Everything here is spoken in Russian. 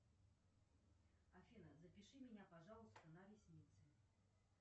афина запиши меня пожалуйста на ресницы